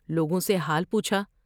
لوگوں سے حال پوچھا ۔